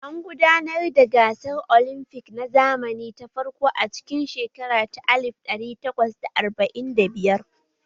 An gudanar da gasar olimfic na zamani ta farko a cikin shekara ta alif ɗari takwas da arba'in da biyar